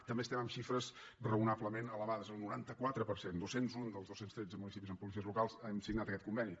també estem en xifres raonablement elevades el noranta quatre per cent dos cents i un dels dos cents i tretze municipis amb policies locals han signat aquest conveni